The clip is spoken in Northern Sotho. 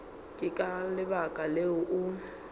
ke ka lebaka leo o